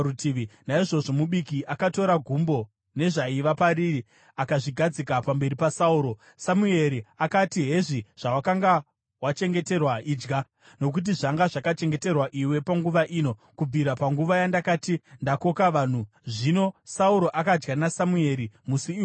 Naizvozvo mubiki akatora gumbo nezvaiva pariri akazvigadzika pamberi paSauro. Samueri akati, “Hezvi zvawakanga wachengeterwa. Idya, nokuti zvanga zvakachengeterwa iwe panguva ino, kubvira panguva yandakati, ‘Ndakoka vanhu.’ ” Zvino Sauro akadya naSamueri musi iwoyo.